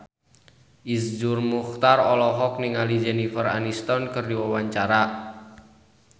Iszur Muchtar olohok ningali Jennifer Aniston keur diwawancara